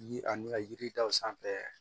Yiri ani ka yiri taw sanfɛ